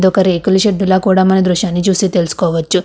ఒక రేకుల షెడ్డు లో కూడా మన దృశ్యాన్ని చూసి తెలుసుకోవచ్చు.